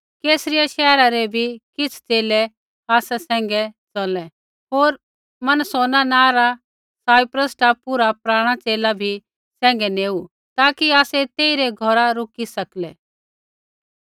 कैसरिया शैहरा रै भी किछ़ च़ेले आसा सैंघै च़लै होर मनासोन नाँ रा साइप्रस टापू रा पराणा च़ेला बी सैंघै नेऊ ताकि आसै तेइरै घौरा रूकी सकलै